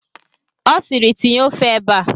Ọ siiri, tinye ofe ebe a!